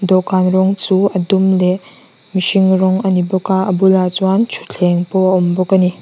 dawhkan rawng chu a dum leh mihring rawng a ni bawk a a bulah chuan thuthleng pawh a awm bawk a ni.